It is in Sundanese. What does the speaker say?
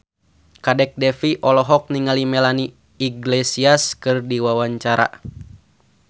Kadek Devi olohok ningali Melanie Iglesias keur diwawancara